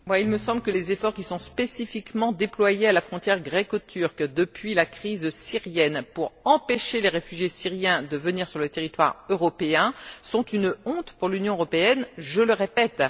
Il me semble que les efforts qui sont spécifiquement déployés à la frontière greco turque, depuis la crise syrienne, pour empêcher les réfugiés syriens de venir sur le territoire européen, sont une honte pour l'Union européenne, je le répète.